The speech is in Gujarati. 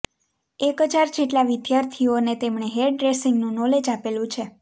એક હજાર જેટલા વિઘાર્થીઓને તેમણે હેર ડે્રસીંૅગનું નોલેજ આપેલું છે